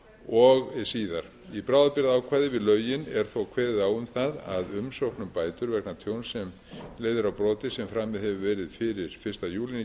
og síðar í bráðabirgðaákvæði við lögin er þó kveðið á um það að umsókn um bætur vegna tjóns sem leiðir af broti sem framið hefur verið fyrsta júní